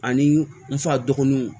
Ani n fa dɔgɔninw